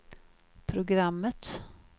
programmet